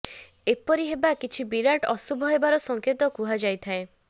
ଏପରି ହେବା କିଛି ବିରାଟ ଅଶୁଭ ହେବାର ସଙ୍କେତ କୁହାଯାଇଥାଏ